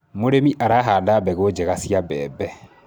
mũrĩmi arahanda mbegũ njega cia mbembe